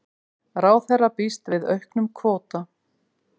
Ráðherra býst við auknum kvóta